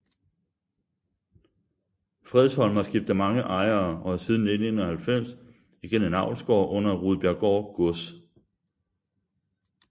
Fredsholm har skiftet mange ejere og er siden 1991 igen en avlsgård under Rudbjerggaard Gods